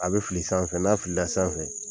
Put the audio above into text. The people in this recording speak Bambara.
A bɛ fili san fɛ n'a filila sanfɛ.